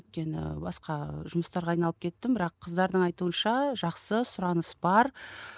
өйткені басқа жұмыстарға айналып кеттім бірақ қыздардың айтуынша жақсы сұраныс бар